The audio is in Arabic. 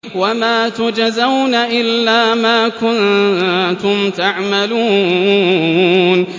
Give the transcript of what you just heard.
وَمَا تُجْزَوْنَ إِلَّا مَا كُنتُمْ تَعْمَلُونَ